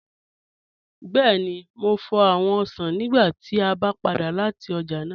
Bẹẹ̀ni, mò fọ́ awọn osàn nígbà tí a bá padà lati ọ̀já náà